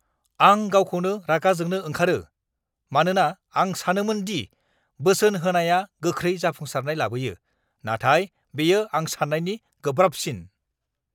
आं गावखौनो रागा जोंनो ओंखारो, मानोना आं सानोमोन दि बोसोन होनाया गोख्रै जाफुंसारनाय लाबोयो, नाथाय बेयो आं सान्नायनि गोब्राबसिन!